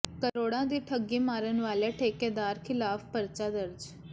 ਕਰੋੜਾਂ ਦੀ ਠੱਗੀ ਮਾਰਨ ਵਾਲੇ ਠੇਕੇਦਾਰ ਖ਼ਿਲਾਫ਼ ਪਰਚਾ ਦਰਜ